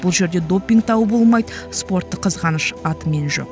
бұл жерде допинг дауы болмайды спорттық қызғаныш атымен жоқ